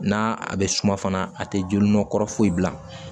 N'a bɛ suma fana a tɛ joli nɔ kɔrɔ foyi bila